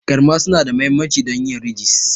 Garma suna da mahimmanci don yin ridges.